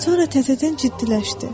Sonra təzədən ciddiləşdi.